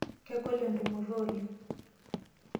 Kegol entumoto oleng.